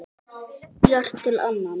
Býr til annan.